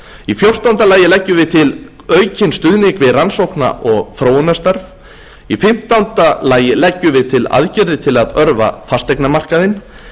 í fjórtánda lagi leggjum við til aukinn stuðning við rannsókna og þróunarstarf í fimmtánda lagi leggjum við til aðgerðir til að örva fasteignamarkaðinn